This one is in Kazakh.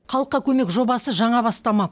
халыққа көмек жобасы жаңа бастама